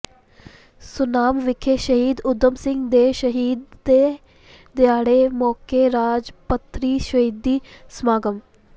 ਸੁਨਾਮ ਵਿਖੇ ਸ਼ਹੀਦ ਊਧਮ ਸਿੰਘ ਦੇ ਸ਼ਹੀਦੇ ਦਿਹਾੜੇ ਮੌਕੇ ਰਾਜ ਪੱਧਰੀ ਸ਼ਹੀਦੀ ਸਮਾਗਮ